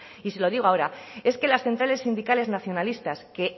y se lo digo ahora es que las centrales sindicales nacionalistas que